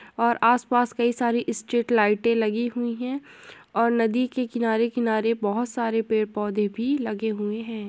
और आसपास कई सारी स्ट्रीट लाइटें लगी हुई हैं और नदी के किनारे किनारे बहोत सारे पेड़ पौधे भी लगे हुए हैं।